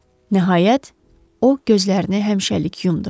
Nəhayət, o gözlərini həmişəlik yumdu.